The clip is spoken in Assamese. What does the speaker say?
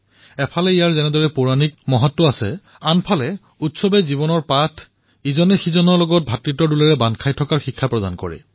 এফালে পৌৰাণিক গুৰুত্ব আৰু এফালে জীৱনৰ পাঠ প্ৰদান কৰা এই উৎসৱসমূহে আমাক ভাতৃত্ববোধৰো শিক্ষা প্ৰদান কৰে